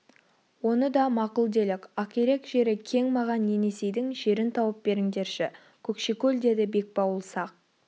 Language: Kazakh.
оны да мақұл делік ақирек жері кең маған енесейдің жерін тауып беріңдерші көкшекөл деді бекбауыл сақ